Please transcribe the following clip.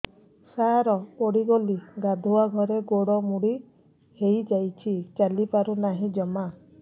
ସାର ପଡ଼ିଗଲି ଗାଧୁଆଘରେ ଗୋଡ ମୋଡି ହେଇଯାଇଛି ଚାଲିପାରୁ ନାହିଁ ଜମା